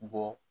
Bɔ